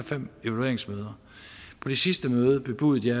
fem evalueringsmøder på det sidste møde bebudede jeg